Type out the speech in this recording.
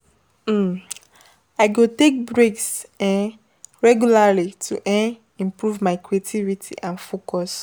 um I go take breaks um regularly to um improve my creativity and focus.